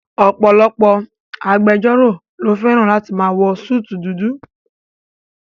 Ọ̀pọ̀lọpọ̀ agbẹjọ́rò ló fẹ́ràn láti máa wọ súùtù dudu